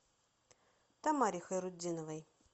тамаре хайрутдиновой